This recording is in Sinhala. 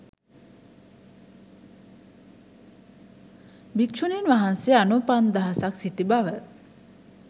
භික්‍ෂුණින් වහන්සේ අනුපන්දහසක් සිටි බව